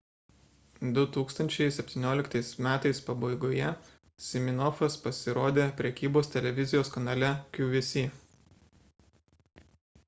2017 m pabaigoje siminoffas pasirodė prekybos televizijos kanale qvc